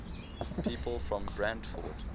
people from brantford